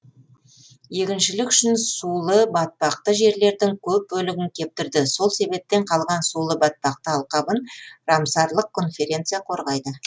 егіншілік үшін сулы батпақты жерлердің көп бөлігін кептірді сол себептен қалған сулы батпақты алқабын рамсарлық конференция қорғайды